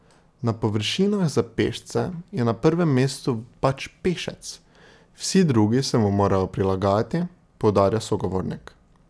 Na površinah za pešce je na prvem mestu pač pešec, vsi drugi se mu morajo prilagajati, poudarja sogovornik.